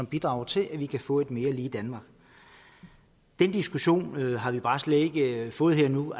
bidrager til at vi kan få et mere lige danmark den diskussion har vi bare slet ikke fået her og nu